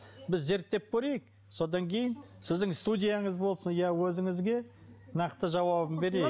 біз зерттеп көрейік содан кейін сіздің студияңыз болсын я өзіңізге нақты жауабын берейік